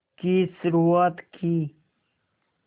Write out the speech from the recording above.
की शुरुआत की